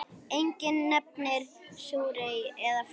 Enginn nefndi súrhey eða fúkka.